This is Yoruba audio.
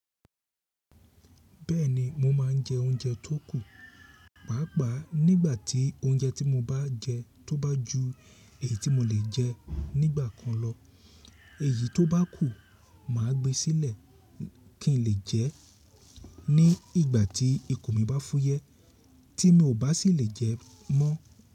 Bẹ́ẹ̀ni mo máa ń jẹ oúnjẹ tó kù, pàápàá nígbà tí oúnjẹ tí mo bá jẹ tó bá ju èyí tí mo lè jẹ́ nígbà kan lọ. Èyí tó bá kù ma gbé sílẹ̀ kí n lè jẹ́ ní ìgbà tí ikùn mi bá fúyẹ́ tí mi ò bá sì lè jẹ mọ́.